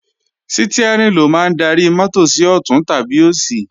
Stiárìn ló máa ń darí mọ́tò sí ọ̀tún tàbí òsì